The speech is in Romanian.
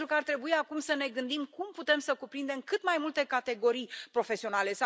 Pentru că ar trebui acum să ne gândim cum putem să cuprindem cât mai multe categorii profesionale.